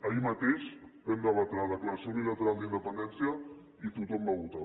ahir mateix vam debatre la declaració unilateral d’independència i tothom va votar